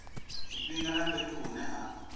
tshifhinga na fhethu hune ha